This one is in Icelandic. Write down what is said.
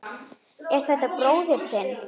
Er þetta bróðir þinn?